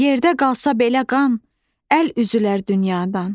Yerdə qalsa belə qan, əl üzülər dünyadan.